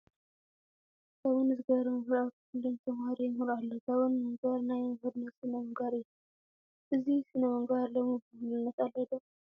ጋቦን ዝገበረ መምህር ኣብ ክፍሊ ንተመሃሮ የምህር ኣሎ፡፡ ጋቦን ምግባር ናይ መምህርነት ስነ ምግባር እዩ፡፡ እዚ ስነ ምግባር ሎሚ ብሙሉእነት ኣሎ ዶ?